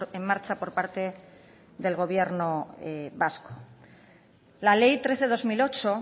en marcha por parte del gobierno vasco la ley trece barra dos mil ocho